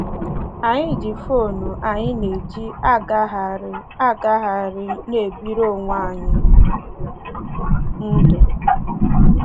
Anyị ji fon anyị na-eji agagharị agagharị na-ebiri onwe anyị ndụ.